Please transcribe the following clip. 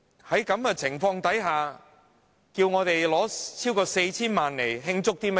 在這種情況下，要我們撥款超過 4,000 萬元，究竟想慶祝甚麼？